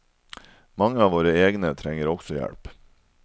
Mange av våre egne trenger også hjelp.